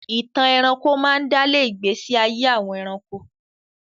Ìtàn ẹranko máa ń dálé ìgbésí ayé àwọn ẹranko.